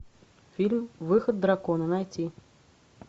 фильм выход дракона найти